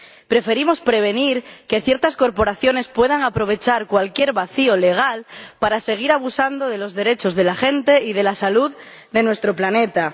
Preferimos prevenir que ciertas corporaciones puedan aprovechar cualquier vacío legal para seguir abusando de los derechos de la gente y de la salud de nuestro planeta.